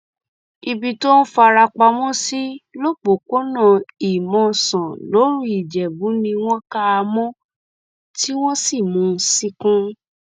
ibi tó ń fara pamọ sí lọpọpọnà ìmọsán lòruìjẹbù ni wọn kà á mọ tí wọn sì mú un ṣìnkún